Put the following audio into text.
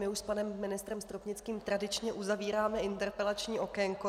My už s panem ministrem Stropnickým tradičně uzavíráme interpelační okénko.